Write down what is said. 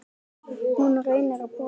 Hún reynir að brosa.